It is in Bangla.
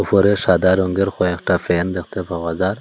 ঘরে সাদা রঙের কয়েকটা ফ্যান দেখতে পাওয়া যার।